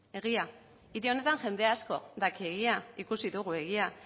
egia hiri honetan jende asko daki egia ikusi dugu egia